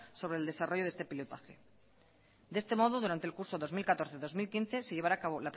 sobre el desarrollo de este pilotaje de este modo durante el curso dos mil catorce dos mil quince se llevará a cabo